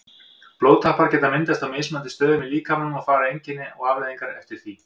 Blóðtappar geta myndast á mismunandi stöðum í líkamanum og fara einkenni og afleiðingar eftir því.